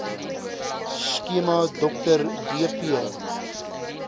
skema dr dp